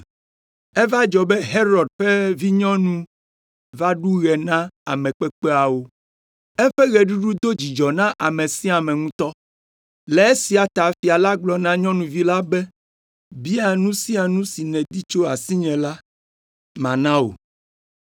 Eva dzɔ be Herod ƒe vinyɔnu va ɖu ɣe na ame kpekpeawo. Eƒe ɣeɖuɖu do dzidzɔ na ame sia ame ŋutɔ. Le esia ta fia la gblɔ na nyɔnuvi la be, “Bia nu sia nu si nèdi tso asinye la, mana wò.”